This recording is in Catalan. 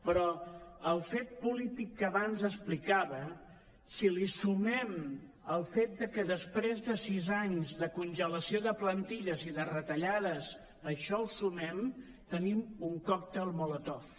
però al fet polític que abans explicava si li sumem el fet que després de sis anys de conge·lació de plantilles i de retallades això ho sumem tenim un còctel molotov